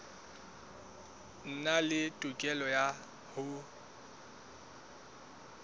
nang le tokelo ya ho